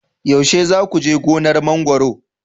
yaushe za ku je gonar mangwaro